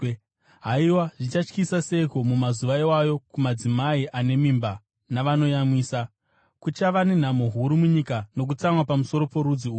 Haiwa, zvichatyisa seiko mumazuva iwayo kumadzimai ane mimba navanoyamwisa! Kuchava nenhamo huru munyika nokutsamwa pamusoro porudzi urwu.